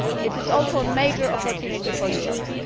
It is also a major opportunity for Europe.